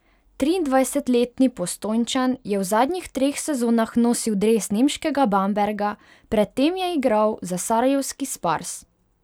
Triindvajsetletni Postojnčan je v zadnjih treh sezonah nosil dres nemškega Bamberga, pred tem je igral za sarajevski Spars.